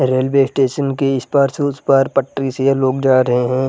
Railway station के इस पार से उस पार पटरी से ये लोग जा रहे है।